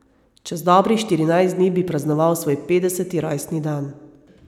Čez dobrih štirinajst dni bi praznoval svoj petdeseti rojstni dan.